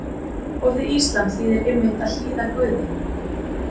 Orðið íslam þýðir einmitt að hlýða Guði.